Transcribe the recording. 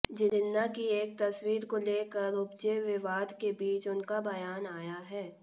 जिन्ना की एक तस्वीर को लेकर उपजे विवाद के बीच उनका बयान आया है